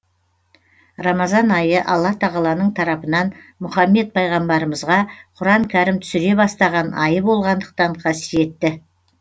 рамазан айы алла тағаланың тарапынан мұхаммед пайғамбарымызға құран кәрім түсіре бастаған айы болғандықтан қасиетті